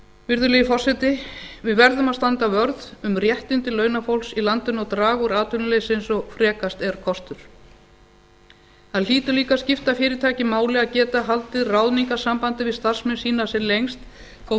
virðulegi forseti við verðum að standa vörð um réttindi launafólks í landinu og draga úr atvinnuleysi eins og frekast er kostur það hlýtur líka að skipta fyrirtæki máli að geta haldið ráðningarsambandi við starfsmenn sína sem lengst þótt